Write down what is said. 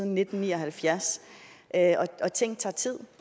nitten ni og halvfjerds og ting tager tid